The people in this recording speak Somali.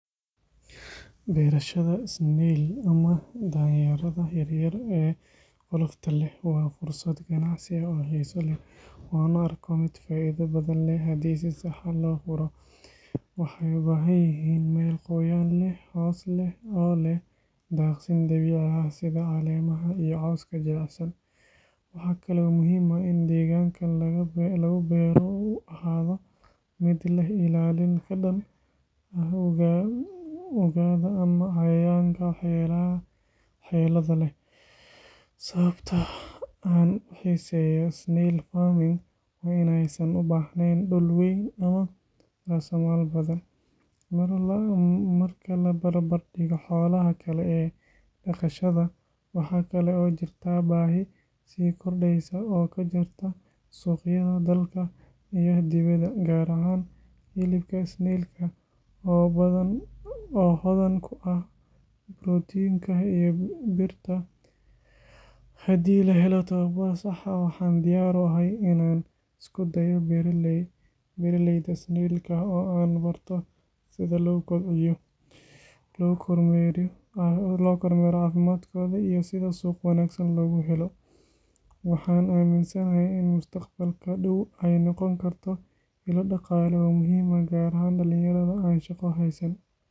Beerashada snail ama danyeerada yaryar ee qolofta leh waa fursad ganacsi oo xiiso leh oo aan u arko mid faa’iido badan leh haddii si sax ah loo furo. Waxay u baahan yihiin meel qoyaan leh, hoos leh oo leh daaqsin dabiici ah sida caleemaha iyo cawska jilicsan. Waxa kale oo muhiim ah in deegaanka lagu beero uu ahaado mid leh ilaalin ka dhan ah ugaadha ama cayayaanka waxyeellada leh. Sababta aan u xiiseeyo snail farming waa in aysan u baahnayn dhul weyn ama raasamaal badan, marka la barbardhigo xoolaha kale ee dhaqashada. Waxaa kale oo jirta baahi sii kordhaysa oo ka jirta suuqyada dalka iyo dibadda, gaar ahaan hilibka snail-ka oo hodan ku ah borotiinka iyo birta. Haddii la helo tababar sax ah, waxaan diyaar u ahay in aan isku dayo beeraleyda snail-ka oo aan barto sida loo kobciyo, loo kormeero caafimaadkooda iyo sida suuq wanaagsan loogu helo. Waxaan aaminsanahay in mustaqbalka dhow ay noqon karto ilo dhaqaale oo muhiim ah, gaar ahaan dhalinyarada aan shaqo haysan.